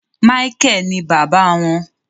Micheal ní bàbá wọn